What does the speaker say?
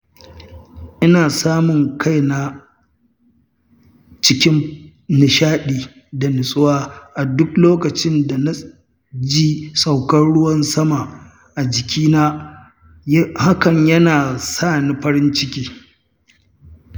Ina samun kaina cikin nishaɗi da nutsuwa a duk lokacin da na ji sauƙar ruwan sama a jikina, hakan yana sani farin ciki.